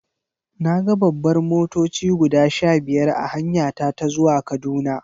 Na ga babbar motoci guda sha biyar a hanyata ta zuwa Kaduna.